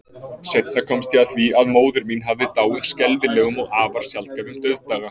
Seinna komst ég að því, að móðir mín hafði dáið skelfilegum og afar sjaldgæfum dauðdaga.